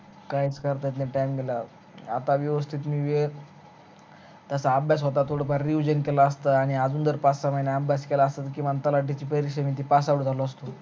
काहीच करता येत नाही time ला आता व्यवस्तीत मी तस अभ्यास होता थोड फार revision केला असता आणि अजून जर पाच सहा महिने अभ्यास केला असता आणि ती तलाठ्याची परीक्ष्या दिली असती pass out झालो असतो